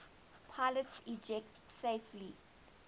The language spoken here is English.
pilots ejected safely